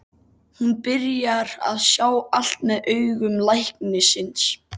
Hún byrjar að sjá allt með augum læknisins.